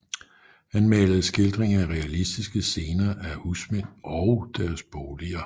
Han malede skildringer af realistiske scener af husmænd og deres boliger